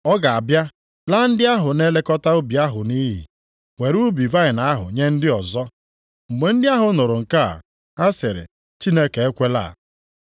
Ọ ga-abịa, laa ndị ahụ na-elekọta ubi ahụ nʼiyi, were ubi vaịnị ahụ nye ndị ọzọ.” Mgbe ndị ahụ nụrụ nke a, ha sịrị, “Chineke ekwela.”